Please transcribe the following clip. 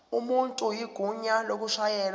umuntu igunya lokushayela